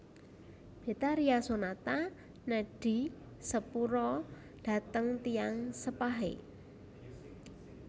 Betharia Sonata nedhi sepura dhateng tiyang sepahe